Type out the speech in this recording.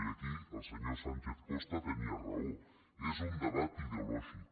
i aquí el senyor sánchez costa tenia raó és un debat ideològic